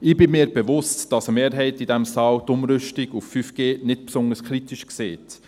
Ich bin mir bewusst, dass eine Mehrheit in diesem Saal die Umrüstung auf 5G nicht besonders kritisch sieht.